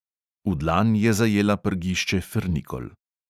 V dlan je zajela prgišče frnikol.